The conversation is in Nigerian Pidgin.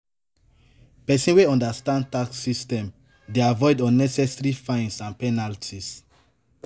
Pesin wey understand tax system dey avoid unnecessary fines and penalties.